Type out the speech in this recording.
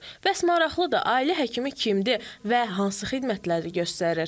Bəs maraqlıdır, ailə həkimi kimdir və hansı xidmətləri göstərir?